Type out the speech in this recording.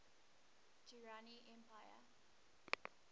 durrani empire